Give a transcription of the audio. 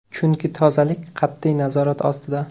Chunki tozalik qat’iy nazorat ostida.